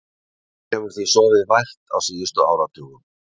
Hún hefur því sofið vært á síðustu áratugum.